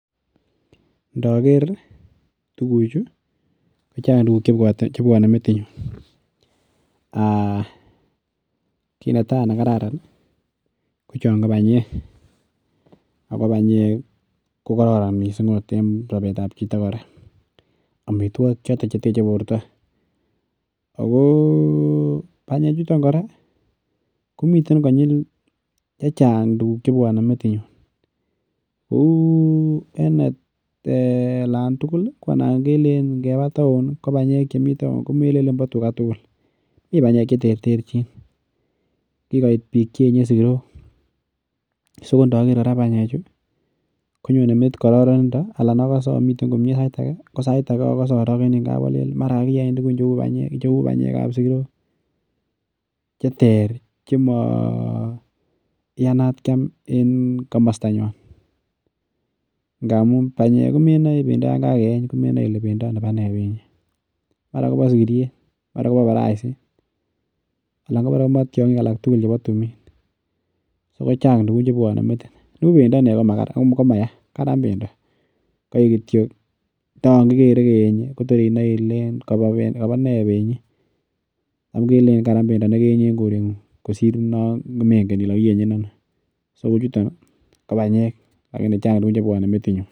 Ndaker tuguk Chu kochang tuguk chebwanen metinyun ki netai nekararan kochan ko banyek ako banyek ko karoron mising en Sabet ab Chito koraa amitwogik choton cheteche borta ako banyek chuton kora komiten konyil. Chechang tuguk chebwanen Kou en netai alantuku Kole anan keba taon kobanyek Chemiten taon ko kelelen ba tuga tukul mi banyek cheterterchin kikoit bik Cheyenne sikirok sikontaker banyek chuton akere Ami komie saitage anan akose arakeni kab Alen Kaya bendoo ab sikiriet Chester chemaiyanat Kiam en kamasta nywan ntamun banyek komenae bendo yangageyeny Kole bendo ab nei benyi mara Koba sikiriet Anna kobaraisit anan kotiongik chebo tuminb so kochang tuguk chebwanen metit ibuch bendo komaya Karan bendonkaik kityo ntayan kikere keyenye inae Kole Kaba bendon take kelelen Karan Bedi nikeyenye en korengung kosir namekole kakiyenyen Ani lakini kochang tugukk chebwanen metinyun